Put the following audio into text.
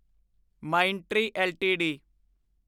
Mindtree LTD